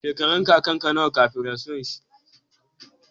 Shekarun kakan ka nawa kafin rasuwar shi?